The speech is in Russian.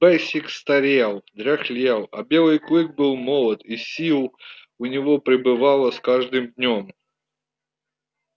бэсик старел дряхлел а белый клык был молод и сил у него прибывало с каждым днём